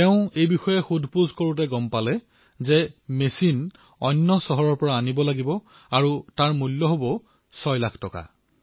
তেওঁ খবৰ লৈ গম পালে যে মেচিন অন্য চহৰৰ পৰা আনিব লাগিব আৰু ইয়াৰ মূল্য হব ছয় লাখ টকা